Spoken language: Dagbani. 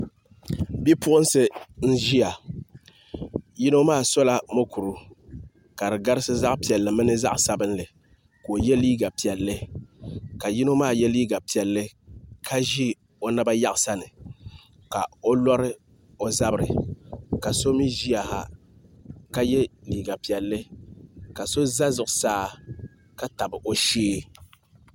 Bipuɣunsi n ʒiya yino maa sola mokuru ka di garisi zaɣ piɛlli mini zaɣ sabinli ka o yɛ liiga piɛlli ka yino maa yɛ liiga piɛlli ka ʒi o naba yaɣasani ka o lori o zabiri ka so mii ʒiya ha ka yɛ liiga piɛlli ka so za zuɣusaa ka tabi o shee